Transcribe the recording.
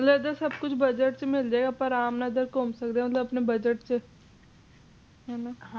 ਇਧਰ ਸਭ ਕੁਝ ਆਪਣੇ budget ਚ ਮਿਲਜੇਗਾ ਅਪਾ ਘੁੰਮ ਸਕਦੇ ਆ ਆਪਣੇ budget ਚ ਹੈਨਾ